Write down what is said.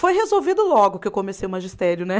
Foi resolvido logo que eu comecei o magistério, né?